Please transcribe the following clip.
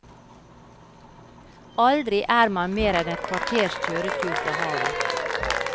Aldri er man mer enn et kvarters kjøretur fra havet.